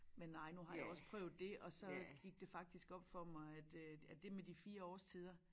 Men nej nu har jeg også prøvet dét og så gik det faktisk op for mig at øh at det med de 4 årstider